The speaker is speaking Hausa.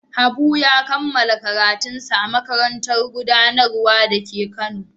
Habu ya kammala karatunsa a Makarantar Gudanarwa da ke Kano.